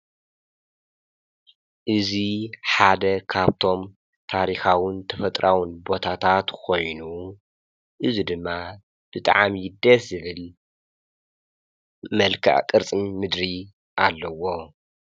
እዙ ሓደ ኻብቶም ታሪኻውን ተፈጥራውን ቦታታ ትኾይኑ እዙ ድማ ብጥዓም ይደ ስብል መልከ ቕርጽን ምድሪ ኣለዎ።